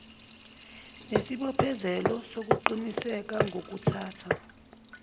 nesibophezelo sokuqinisekisa ngokuthatha